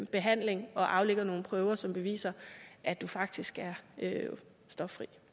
behandling og aflægger nogle prøver som beviser at du faktisk er stoffri